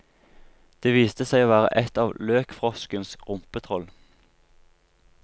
Det viste seg å være et av løkfroskens rumpetroll.